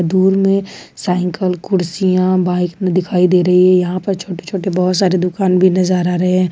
दुर में साइकिल कुर्सियां बाइक में दिखाई दे रही है यहां पर छोटे छोटे बहुत सारे दुकान भी नजर रहे हैं।